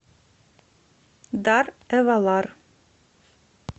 дар эвалар